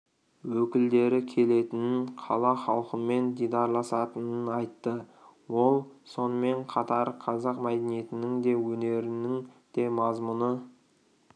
өкілдері келетінін қала халқымен дидарласатынын айтты ол сонымен қатар қазақ мәдениетінің де өнерінің де мазмұны